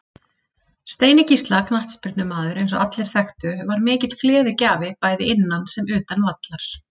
Steini Gísla knattspyrnumaður eins og allir þekktu var mikill gleðigjafi bæði innan sem utan vallar.